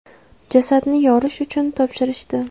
Jasadni yorish uchun topshirishdi.